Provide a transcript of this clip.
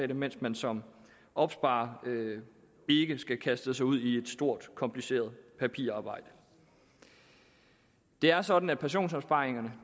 det mens man som opsparer ikke skal kaste sig ud i et stort kompliceret papirarbejde det er sådan at pensionsopsparingerne